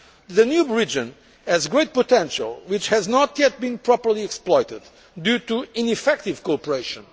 strategy. The Danube region has great potential that has not yet been properly exploited due to ineffective cooperation.